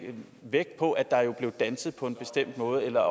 vægt på at der blev danset på en bestemt måde eller